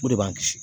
O de b'an kisi